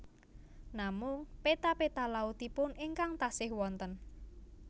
Namung péta péta lautipun ingkang tasih wonten